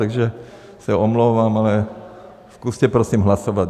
Takže se omlouvám, ale zkuste prosím hlasovat.